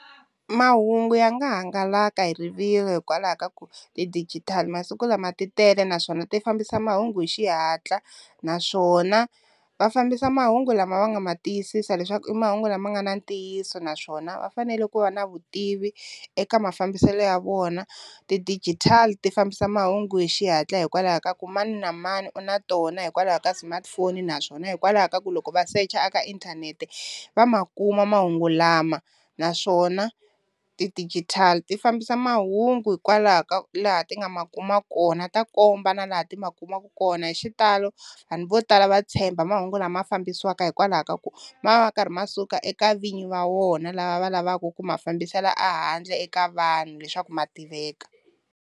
Mahungu ya nga hangalaka hi rivilo hikwalaho ka ku ti-digital masiku lama ti tele, naswona ti fambisa mahungu hi xihatla naswona va fambisa mahungu lama va nga ma tiyisisa leswaku i mahungu lama nga na ntiyiso naswona va fanele ku va na vu tivi eka mafambiselo ya vona, ti-digital ti fambisa mahungu hi xihatla hikwalaho ka ku mani na mani u na tona hikwalaho ka smartphone naswona hikwalaho ka ku loko va secha a ka inthanete va ma kuma mahungu lama, naswona ti-digital ti fambisa mahungu hikwalaho ka laha ti nga ma kuma kona ta komba na laha ti ma kumaka kona, hi xitalo vanhu vo tala va tshemba mahungu lama fambisiwaka hikwalaho ka ku ma va ma karhi ma suka eka vinyi va wona lava va lavaku ku ma fambisela a handle eka vanhu leswaku ma tiveka.